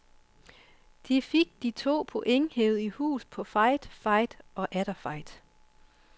De fik de to point hevet i hus på fight, fight og atter fight.